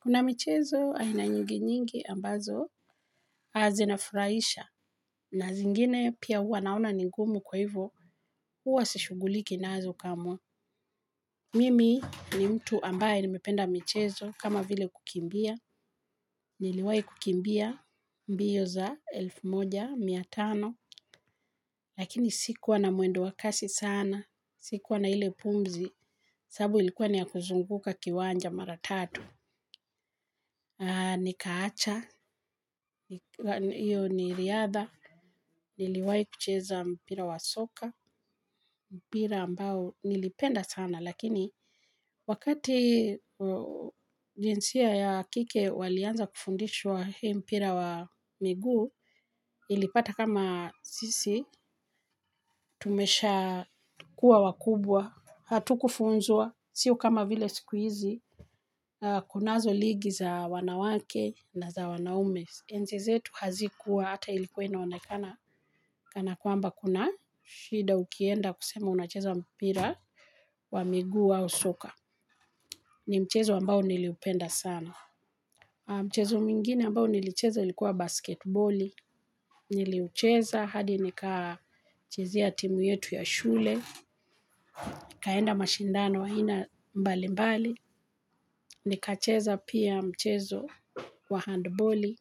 Kuna michezo aina nyingi nyingi ambazo zinafurahisha na zingine pia hua naona ni ngumu kwa hivyo huwa sishughuliki nazo kamwe. Mimi ni mtu ambaye nimependa michezo kama vile kukimbia, niliwahi kukimbia mbio za elfu moja mia tano. Lakini sikuwa na mwendo wa kasi sana sikuwa na ile pumzi sababu ilikuwa ni ya kuzunguka kiwanja mara tatu. Nikaacha, hiyo ni riadha, niliwahi kucheza mpira wa soka, mpira ambao nilipenda sana lakini wakati jinsia ya kike walianza kufundishwa hii mpira wa miguu, ilipata kama sisi, tumeshakuwa wakubwa, hatukufunzwa, sio kama vile siku hizi, kunazo ligi za wanawake na za wanaume. Enzi zetu hazikuwa hata ilikuwa inaonekana kana kwamba kuna shida ukienda kusema unacheza mpira wa miguu au soka. Ni mchezo ambao niliupenda sana. Mchezo mwingine ambao nilicheza ilikuwa basketboli. Niliucheza hadi nikachezea timu yetu ya shule. Nikaenda mashindano aina mbalimbali. Nikacheza pia mchezo wa handboli.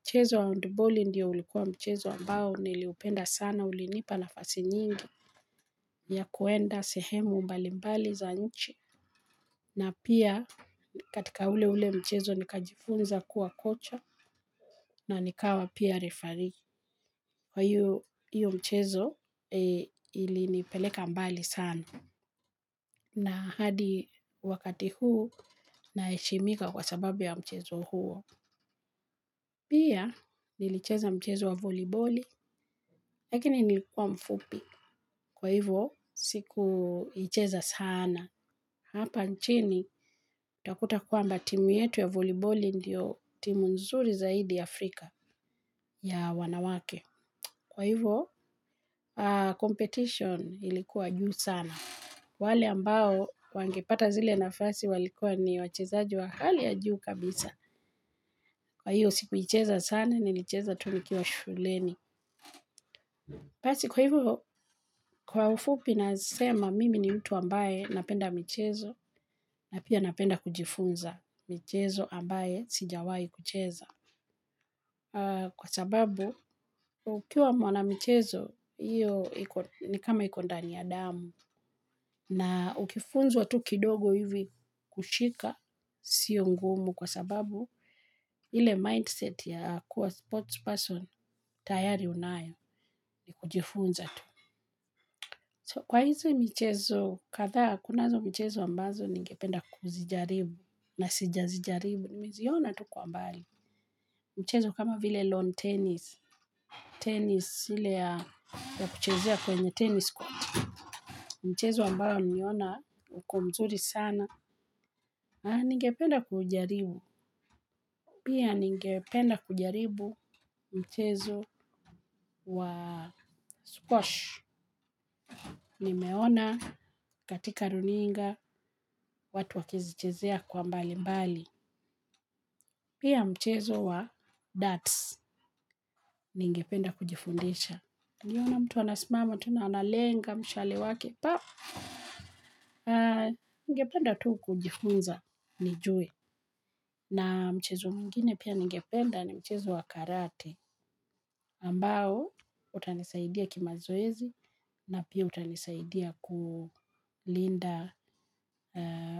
Mchezo wa handboli ndiyo ulikuwa mchezo ambao niliupenda sana, ulinipa nafasi nyingi ya kuenda sehemu mbalimbali za nchi. Na pia katika ule ule mchezo nikajifunza kuwa kocha na nikawa pia refarii. Kwa hiyo mchezo ilinipeleka mbali sana na hadi wakati huu naheshimika kwa sababu ya mchezo huo. Pia, nilicheza mchezo wa voliboli, lakini nilikuwa mfupi. Kwa hivyo, sikuicheza sana. Hapa nchini, utakuta kwamba timu yetu ya voliboli ndiyo timu nzuri zaidi Afrika ya wanawake. Kwa hivyo, competition ilikuwa juu sana. Wale ambao wangepata zile nafasi walikuwa ni wachezaji wa hali ya juu kabisa. Kwa hiyo sikuicheza sana nilicheza tu nikiwa shuleni. Basi kwa hivyo, kwa ufupi nasema mimi ni mtu ambaye napenda michezo na pia napenda kujifunza michezo ambayo sijawahi kucheza. Kwa sababu ukiwa mwanamichezo hiyo ni kama iko ndani ya damu. Na ukifunzwa tu kidogo hivi kushika siyo ngumu kwa sababu ile mindset ya kuwa sportsperson tayari unayo ni kujifunza tu. So kwa hizi michezo kadhaa kunazo michezo ambazo ningependa kuzijaribu na sijazijaribu, niliziona tu kwa mbali. Mchezo kama vile lawn tennis, tennis ile ya kuchezea kwenye tennis squat, mchezo ambayo niliona uko mzuri sana. Ningependa kujaribu. Pia ningependa kujaribu mchezo wa squash nimeona katika runinga watu wakizichezea kwa mbalimbali. Pia mchezo wa darts ningependa kujifundisha. Niliona mtu anasimama tu na analenga mshale wake, pap, ningependa tu kujifunza, nijue na mchezo mwingine pia ningependa ni mchezo wa karate, ambao utanisaidia kimazoezi, na pia utanisaidia kulinda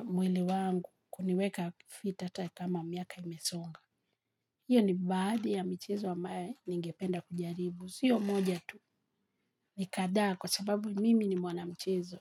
mwili wangu, kuniweka fit hata kama miaka imesonga. Hiyo ni baadhi ya michezo ambaye ningependa kujaribu. Siyo moja tu ni kadhaa kwa sababu mimi ni mwanamchezo.